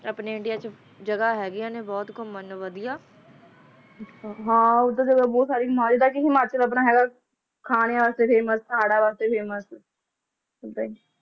ਲੀਵੇਟਰਾਂ ਮਾਨਵਵਾਦੀਆਂਗੱਲ੍ਹ ਹੈ